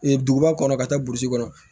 duguba kɔnɔ ka taa burusi kɔnɔ